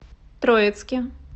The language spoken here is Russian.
троицке